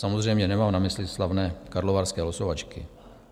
Samozřejmě nemám na mysli slavné karlovarské losovačky.